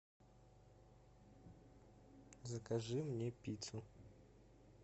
закажи мне пиццу